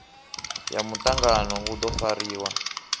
ya mutangano u do fariwa